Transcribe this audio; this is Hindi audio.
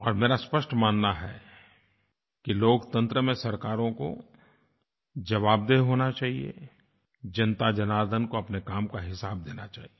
और मेरा स्पष्ट मानना है कि लोकतंत्र में सरकारों को जवाबदेह होना चाहिए जनताजनार्दन को अपने काम का हिसाब देना चाहिए